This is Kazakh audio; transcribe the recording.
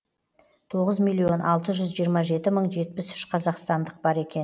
тоғыз миллион алты жүз жиырма жеті мың жетпіс үш қазақстандық бар екен